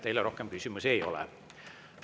Teile rohkem küsimusi ei ole.